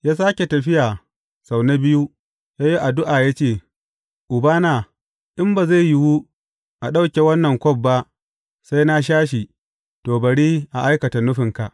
Ya sāke tafiya sau na biyu, ya yi addu’a ya ce, Ubana, in ba zai yiwu a ɗauke wannan kwaf ba sai na sha shi, to, bari a aikata nufinka.